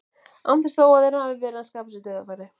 Án þess þó að þeir hafi verið að skapa sér dauðafæri.